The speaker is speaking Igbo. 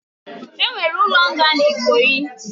Onwere ulo nga n'Ikoyi.